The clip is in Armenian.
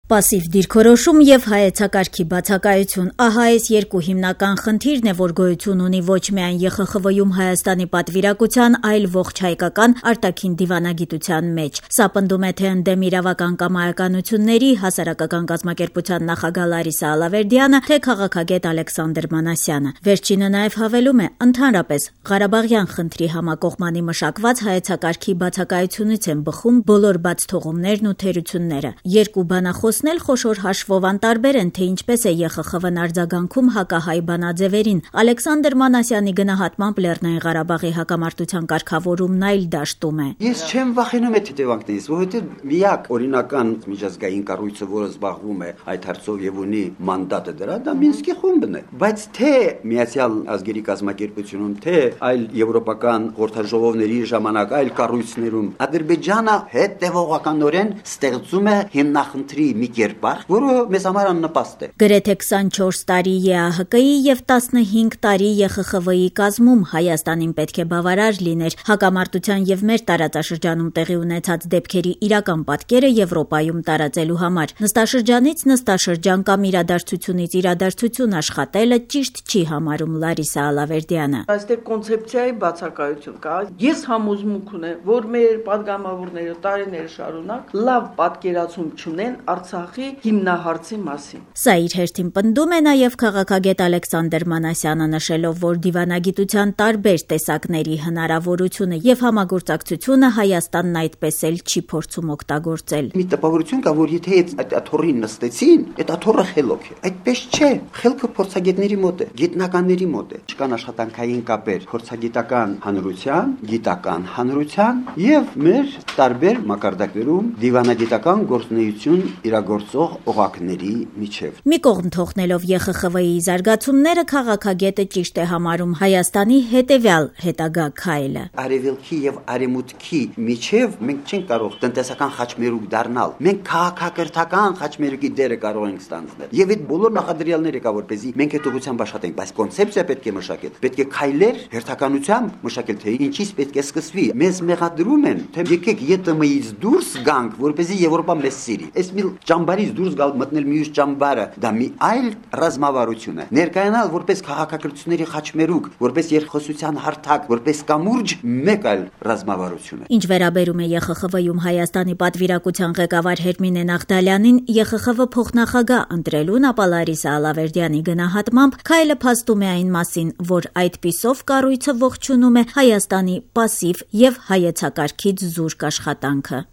Պասիվ դիրքորոշում եւ հայեցակարգի բացակայություն. ահա այս երկու հիմնական խնդիրն է, որ գոյություն ունի ոչ միայն ԵԽԽՎ-ում Հայաստանի պատվիրակության, այլ ողջ հայկական արտաքին դիվանագիտության մեջ: Սա պնդում է թե «Ընդդեմ իրավական կամայականությունների» ՀԿ նախագահ Լարիսա Ալավերդյանը, թե քաղաքագետ Ալեքսանդր Մանասյանը: Վերջինը նաեւ հավելում է՝ ընդհանրապես ղարաբաղյան խնդրի համակողմանի մշակված հայեցակարգի բացակայությունից են բխում բոլոր բացթողումներն ու թերությունները: Երկուսն էլ խոշոր հաշվով անտարբեր են, թե ինչպես է ԵԽԽՎ-ն արձագանքում հակահայ բանաձեւերին, Ալեքսանդր Մանասյանի գնահատմամբ՝ ԼՂ-ի հակամարտության կարգավորումն այլ դաշտում է: «Ես չեմ վախենում այդ հետեւանքներից, միակ օրինական միջազգային կառույցը, որը զբաղվում է այդ հարցով եւ ունի մանդատը դրա, դա Մինսկի Խումբն է: Բայց թե ՄԱԿ-ում, թե եվրոպական այլ խորհրդաժողովների ժամանակ այլ կառույցներում Ադրբեջանը հետեւողականորեն ստեղծում է հիմնախնդրի մի կերպար, որը մեզ համար աննպաստ է»: Գրեթե 24 տարին ԵԱՀԿ-ի եւ 15 տարին ԵԽԽՎ-ի կազմում Հայաստանին պետք է բավարար լիներ հակամարտության եւ մեր տարածաշրջանում տեղի ունեցած դեպքերի իրական պատկերը Եվրոպայում տարածելու համար: Նստաշրջանից՝ նստաշրջան կամ իրադարձությունից՝ իրադարձություն աշխատելը ճիշտ չի համարում Լարիսա Ալավերդյանը: «Այստեղ կոնցեպցիայի բացակայություն կա: Ես համոզմունք ունեմ, որ մեր պատգամավորները տարիներ շարունակ լավ պատկերացում չունեն Արցախի հիմնահարցի մասին»: Սա իր հերթին պնդում է նաեւ քաղաքագետ Ալեքսանդր Մանասյանը՝ նշելով, որ դիվանագիտության տարբեր տեսակների հնարավորությունը Հայաստանն այդպես էլ չի փորձում օգտագործել: «Մի տպավորություն կա, որ եթե այդ աթոռին նստեցին, այդ աթոռը խելոք է: Այդպես չէ: խելքը փորձագետների մոտ է, գիտնականների մոտ է: Չկան աշխատանքային կապեր փորձագիտական հանրության, գիտական հանրության եւ մեր տարբեր մակարդակներում դիվնագիտական գործունեություն իրագործող օղակների միջեւ»: Մի կողմ թողնելով ԵԽԽՎ-ի զարգացումները քաղաքագետը ճիշտ է համարում հայաստանի հետագա քայլը: «Արեւելքի եւ արեւմուտքի միջեւ մենք չենք կարող տնտեսական խաչմերուկ դառնալ, մենք քաղաքակրթությունների խաչմերուկի դերը կարող ենք ստանձնել եւ այդ բոլոր նախադրյալները կա, որպեսզի մենք այդ ուղղությամբ աշխատենք: բայց պետք է կոնցեպցիա մշակել, քայլերի հերթականություն, թե ինչից պետք է սկսել: մեզ ասում են, թե եկեք ԵՏՄ-ից դուրս գանք, որպեսզի Եվրոպան մեզ սիր Մի ճամբարից դուրս գալ մտնել մյուս ճամբարը դա մի այլ ռազմավարություն է, ներկայանալ որպես խաչմերուկ, որպես երկխոսության հարթակ, որպես կամուրջ՝ մեկ այլ ռազմավարություն»: Ինչ վերաբերում է ԵԽԽՎ-ում Հայաստանի պատվիրակության ղեկավար Հերմինե Նաղդալյանին ԵԽԽՎ փոխնախագահ ընտրելուն, ապա Լարիսա Ալավերդյանի գնահատմամբ, քայլը փաստում է այն մասին, որ այդպիսով կառույցը ողջունում է Հայաստանի պասիվ եւ հայեցակարգից զուրկ աշխատանքը: